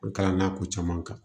N kalann'a ko caman kan